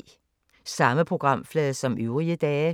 Samme programflade som øvrige dage